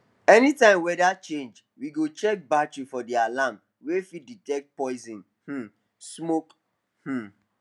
anytime weather change we go change battery for the the alarm wey fit detect poison um smoke um